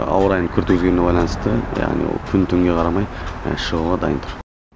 ауа райының күрт өзгеруіне байланысты яғни ол күн түнге қарамай шығуға дайын тұр